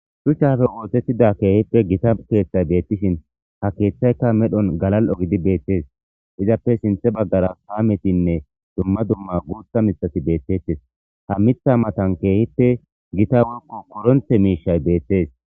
Shuchappe othetida keehippe Gita keethay beetishn ha kethayka medhoni galal'o gidi beetesi istappe sinthe bagara kaametinne dumma dumma guutha mithati beetesi,ha Mitha matan keehippe Gita woyko koronte mishati betesi.